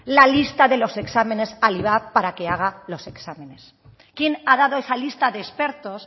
la lista de los exámenes al ivap para que haga los exámenes quién ha dado esa lista de expertos